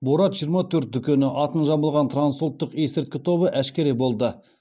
борат жиырма төрт дүкені атын жамылған трансұлттық есірткі тобы әшкере болды